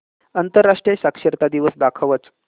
आंतरराष्ट्रीय साक्षरता दिवस दाखवच